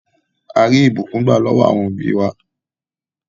À rí ìbùkún gbà lọwọ̀ awọn obì wa.